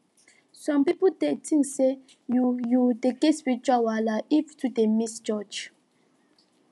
some pipo dey think say you you dey get spiritual wahala if you too dey miss church